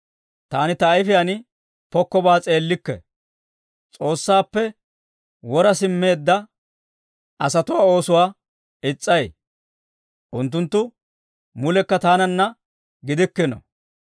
Taani ta ayifiyaan pokkobaa s'eellikke. S'oossaappe wora simmeedda asatuwaa oosuwaa is's'ay; unttunttu mulekka taananna gidikkino.